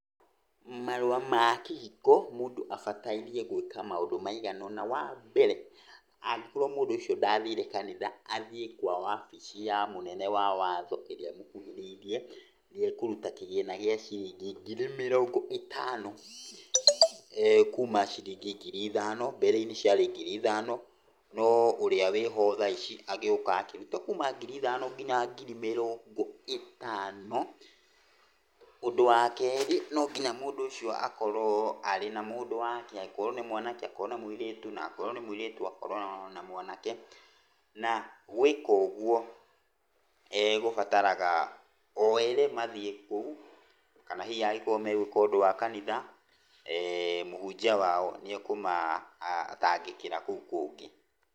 Marũa ma kĩhiko mũndũ abataire gwĩka maũndũ maigana ũna. Wa mbere, angĩkorwo mũndũ ũcio ndathire kanitha, athiĩ kwa wabici ya mũnene wa watho ĩrĩra ĩkuhĩrĩirie, nĩ ekũruta kĩgĩna gĩa ciringi ngiri mĩrongo ĩtano kuma ciringi ngiri ithano, mbere -inĩ ciarĩ ngiri ithano, no ũrĩa wĩho thaa ici agĩũka akĩruta kuma ngiri ithano nginya ngiri mĩrongo ĩtano, ũndũ wa kerĩ, nonginya mũndũ ũcio akorwo arĩ na mũndũ wake, angĩkorwo nĩ mwake akorwo na mũirĩtu, angĩkorwo nĩ mũirĩtu akorwo na mwanake, na gwĩka ũguo gũbataraga oerĩ mathiĩ kũu, kana hihi angĩkorwo megwĩka ũndũ wa kanitha, eh mũhunjia wao nĩ ekũmatangĩkĩra kũu kũngĩ.